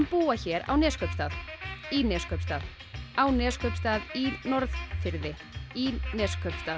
búa hér á Neskaupstað í Neskaupstað á Neskaupstað í Norðfirði í Neskaupstað